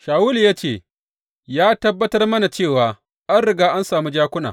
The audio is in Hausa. Shawulu ya ce, Ya tabbatar mana cewa an riga an sami jakuna.